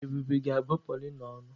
Ebube ga-abụ Paulina ọnụ.